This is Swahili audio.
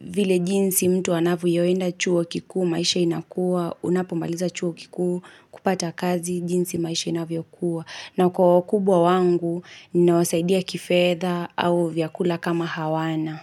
vile jinsi mtu wanavyoenda chuo kikuwa, maisha inakuwa, unapomaliza chuo kikuwa, kupata kazi, jinsi maisha inavyo kuwa. Na kwa kubwa wangu, ninawasaidia kifedha au vyakula kama hawana.